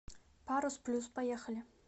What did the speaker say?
парус плюс поехали